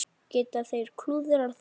Geta þeir klúðrað þessu?